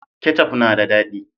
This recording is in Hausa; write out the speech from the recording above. Kecaf na da dadi